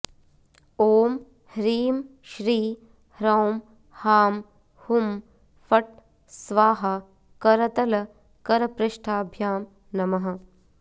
ॐ ह्रीं श्री ह्रौं हां हुं फट् स्वाहा करतल करपृष्ठाभ्यां नमः